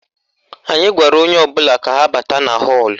Anyị gwara onye ọbụla ka ha bata na họ́ọ̀lụ̀